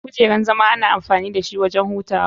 Kujeran zama ana amfani dashi wurin hutawa.